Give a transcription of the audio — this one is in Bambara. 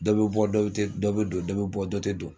Dɔ bɛ bɔ dɔ dɔ bɛ don dɔ bɛ bɔ dɔ tɛ don